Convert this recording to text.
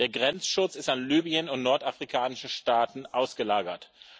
Der Grenzschutz ist an Libyen und nordafrikanische Staaten ausgelagert.